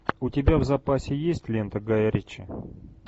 у тебя в запасе есть лента гая ричи